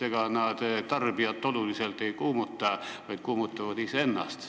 Ega need tarbijat ei kuumuta, vaid kuumutavad iseennast.